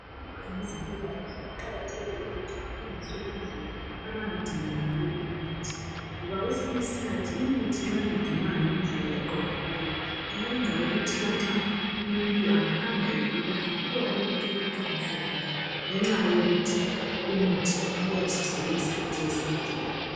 Abona ngezempilakahle kuqakathekile ukuthi bafundiswe indlela abangagcina ngayo imithi ngoba kwesinye isikhathi imithi nxa ingagcinwanga ngedlela eqondileyo iyenza ukuthi lanxa umuntu angahamba egula angaphiwa umuthi ungasebenzi ngenxa yokuthi umuthi uyabe usuhlale isikhathi eside.